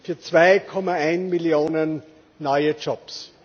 Chance für 2,1 Millionen neue